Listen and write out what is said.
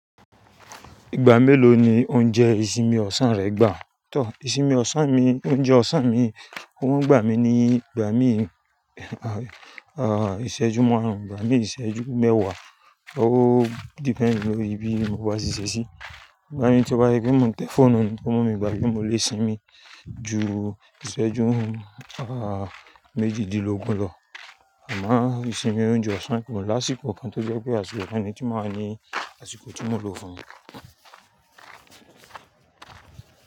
Ìgbà mélòó ni o ń jẹ ìsinmi ọ̀sán rẹ gbà? Tọ, ìsinmi ọ̀sán mi, oúnjẹ ọ̀sán mi, ohun ń gbà mí ní ìgbà mí ìṣẹ́jú márùn-ún, ìgbà mí ìṣẹ́jú mẹ́wàá. Ó depend ní orí bí mo bá ṣeṣẹ̀ sí. Ìgbà mì tí mo bá ṣe pé mo ń tẹ fóònù ni tó mú mi gbà bí mo le sinmi ju ìṣẹ́jú méjìdínlógún lọ. Àmá ìsinmi oúnjẹ ọ̀sán ko lásìkò kan tó jẹ́ pé àsìkò ọ̀ní tí máa ń ní àsìkò tí mò ń lò fún un.